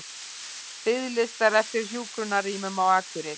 Biðlistar eftir hjúkrunarrýmum á Akureyri